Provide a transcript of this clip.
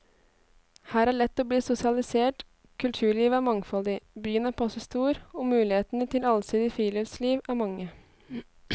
Her er lett å bli sosialisert, kulturlivet er mangfoldig, byen er passe stor, og mulighetene til allsidig friluftsliv er mange.